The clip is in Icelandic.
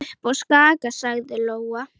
Upp á Skaga, sagði Lóa.